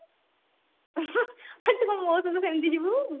ତୁ କଣ ମୋ ସହିତ ସେମତି ଯିବୁ